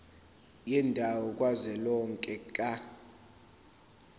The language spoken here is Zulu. yendawo kazwelonke ka